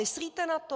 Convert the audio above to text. Myslíte na to?